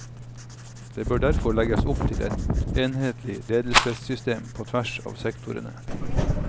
Det bør derfor legges opp til et enhetlig ledelsessystem på tvers av sektorene.